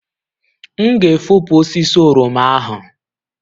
M ga-efopụ osisi oroma ahụ